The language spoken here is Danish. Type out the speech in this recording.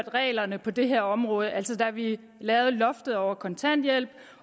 reglerne på det her område altså da vi lavede loftet over kontanthjælpen